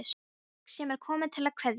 Fólk sem er komið til að kveðja.